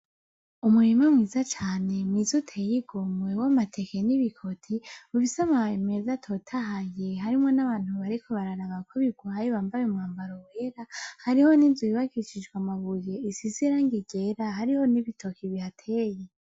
Umurima mwiza cane, mwiza uteye igomwe w'amateke n'ibikoti, ufise amababi meza atotahaye. Harimwo n'abantu bariko bararaba ko birwaye, bambaye umwambaro wera. Hariho n'inzu yubakishijwe amabuye, isize irangi ryera. Hariho n'ibitoke bihateye.